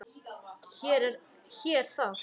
Hér er það!